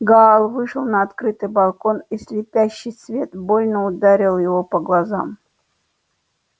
гаал вышел на открытый балкон и слепящий свет больно ударил его по глазам